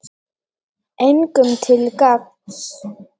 Engum til gagns.